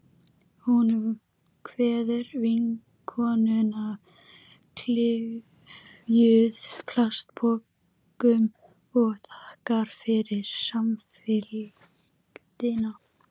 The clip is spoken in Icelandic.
Hún kveður vinkonuna, klyfjuð plastpokum, og þakkar fyrir samfylgdina.